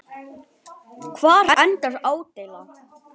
Hvar endar ádeila?